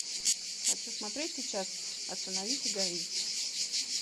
хочу смотреть сейчас остановись и гори